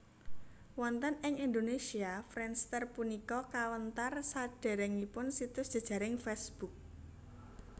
Wonten ing Indonesia Friendster punika kawentar sadèrèngipun situs jejaring Facebook